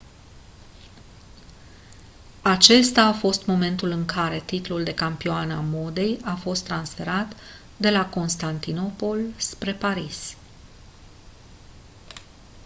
acesta a fost momentul în care titlul de capitală a modei a fost transferat de la constantinopol spre paris